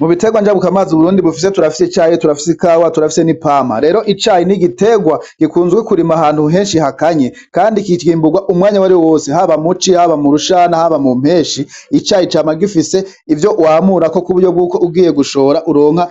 Mu biterwa njabukamazi uburundi bufise turafise icayo turafise ikawa turafise n'ipampa, rero icayi n'igiterwa gikunzwe kurima ahantu henshi hakanye, kandi kikimburwa umwanya wari wose haba muci haba mu rushana haba mu mpeshi icayi cama gifise ivyo wamurako k'uburyo bw'uko ugiye gushora uronka